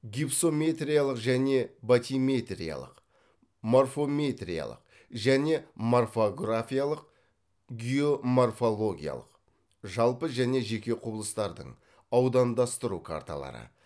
гипсометриялық және батиметриялық морфометриялық және морфографиялық геоморфологиялық аудандастыру карталары